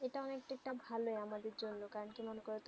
এইটা অনেক টি তা ভালো আমাদের জন্য কারণ কি মনে করো তুমি